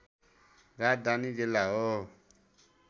राजधानी जिल्ला हो